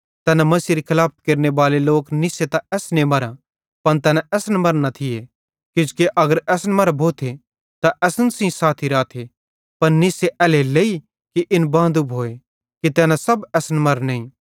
तैना मसीहेरी खलाफत केरनेबाले लोक निस्से त असने मरां पन तैना असन मरां न थिये किजोकि अगर असन मरां भोथे त असन सेइं साथी राथे पन निस्से एल्हेरेलेइ कि इन बांदू भोए कि तैना सब असन मरां नईं